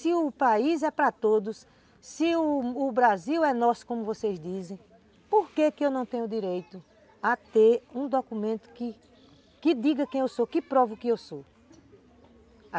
Se o país é para todos, se o Brasil é nosso, como vocês dizem, por que que eu não tenho o direito a ter um documento que diga quem eu sou, que prova o que eu sou?